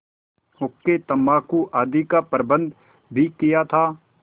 हुक्केतम्बाकू आदि का प्रबन्ध भी किया था